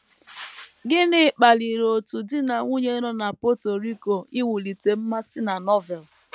Gịnị kpaliri otu di na nwunye nọ na Puerto Rico iwulite mmasị na Novel?